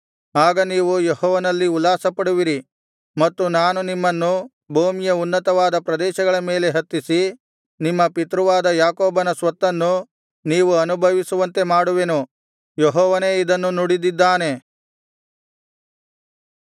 ಆಗ ನೀವು ಯೆಹೋವನಲ್ಲಿ ಉಲ್ಲಾಸಪಡುವಿರಿ ಮತ್ತು ನಾನು ನಿಮ್ಮನ್ನು ಭೂಮಿಯ ಉನ್ನತವಾದ ಪ್ರದೇಶಗಳ ಮೇಲೆ ಹತ್ತಿಸಿ ನಿಮ್ಮ ಪಿತೃವಾದ ಯಾಕೋಬನ ಸ್ವತ್ತನ್ನು ನೀವು ಅನುಭವಿಸುವಂತೆ ಮಾಡುವೆನು ಯೆಹೋವನೇ ಇದನ್ನು ನುಡಿದಿದ್ದಾನೆ